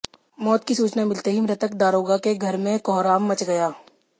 मौत की सूचना मिलते ही मृतक दारोगा के घर में कोहराम मचा गया